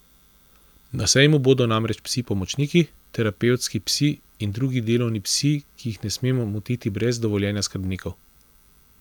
Na sejmu bodo namreč psi pomočniki, terapevtski psi in drugi delovni psi, ki jih ne smemo motiti brez dovoljenja skrbnikov.